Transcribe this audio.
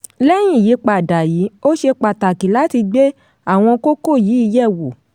lẹ́yìn ìyípadà yìí ó ṣe pàtàkì láti gbé àwọn kókó yìí yẹ̀ wò.